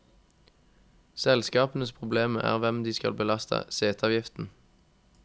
Selskapenes problem er hvem de skal belaste seteavgiften.